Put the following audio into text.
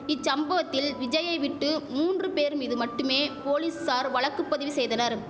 இச்சம்பவத்தில் விஜய்யை விட்டு மூன்று பேர் மீது மட்டுமே போலீசார் வழக்கு பதிவு செய்தனர்